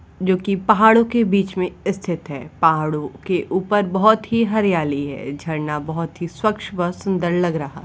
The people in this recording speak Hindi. जो कि पहाड़ों के बीच में स्थित है। पहाड़ों के ऊपर बहुत ही हरियाली है। झरना बहुत ही स्वच्छ व सुंदर लग रहा है।